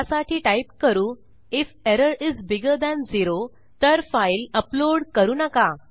त्यासाठी टाईप करू if error is bigger than zeroतर फाइल अपलोड करू नका